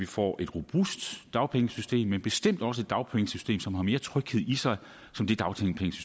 får et robust dagpengesystem men bestemt også et dagpengesystem som har mere tryghed i sig